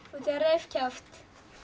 hann reif kjaft